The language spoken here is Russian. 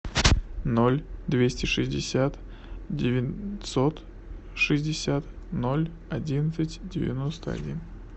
ноль двести шестьдесят девятьсот шестьдесят ноль одиннадцать девяносто один